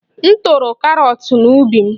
M toro karọt n'ubi m